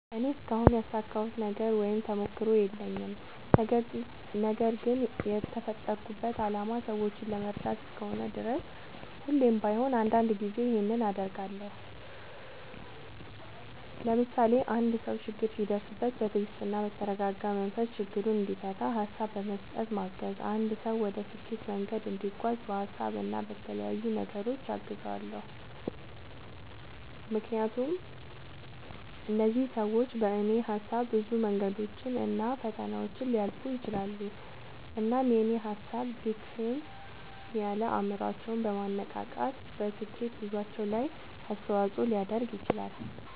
እኔ እስካሁን ያሳካሁት ነገር ወይም ተሞክሮ የለኝም። ነገርግን የተፈጠርኩበት አላማ ሰዎችን ለመርዳት እስከሆነ ድረስ ሁሌም ባይሆን አንዳንድ ጊዜ ይኸንን አደርጋለሁ። ለምሳሌ፦ አንድ ሰው ችግር ሲደርስበት በትግስትና በተረጋጋ መንፈስ ችግሩን እንዲፈታ ሀሳብ በመስጠት ማገዝ፣ አንድ ሰው ወደ ስኬት መንገድ እንዲጓዝ በሀሳብ እና በተለያዩ ነገሮች አግዛለሁ። ምክንያቱም እነዚህ ሰዎች በኔ ሀሳብ ብዙ መንገዶችን እና ፈተናዎችን ሊያልፉ ይችላሉ። እናም የኔ ሀሳብ ድክም ያለ አይምሮአቸውን በማነቃቃት በስኬት ጉዞአቸው ላይ አስተዋጽኦ ሊያደርግ ይችላል።